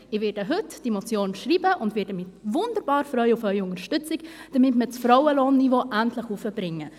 Ich werde diese Motion heute schreiben und werde mich wunderbar auf Ihre Unterstützung freuen, damit wir das Frauenlohnniveau endlich hochkriegen.